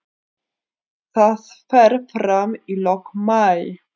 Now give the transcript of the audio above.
Það fer fram í lok maí.